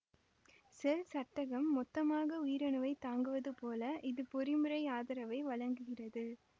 செல்சட்டகம் மொத்தமாக உயிரணுவைத் தாங்குவது போல இது பொறிமுறை ஆதரவை வழங்குகிறது